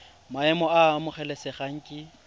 maemo a a amogelesegang ke